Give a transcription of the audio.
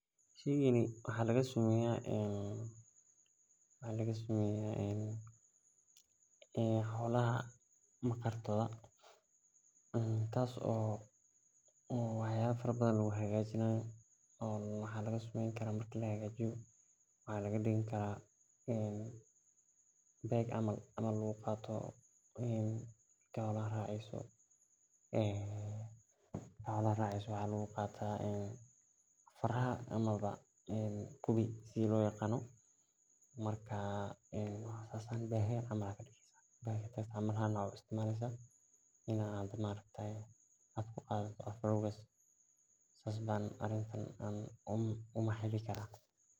Sheygan waxaa laga sameya xolaa maqartodha tas oo waxyala fara badqn lagu hagajiyo ee xolaha racis max lagu qataa in aa maaragte sas ban arintan u naxifiya.